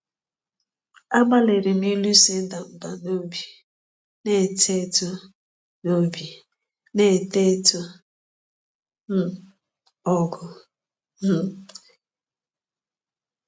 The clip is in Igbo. Agbalịrị m ịlụso ịda mbà n’obi na-eto eto n’obi na-eto eto um ọgụ. um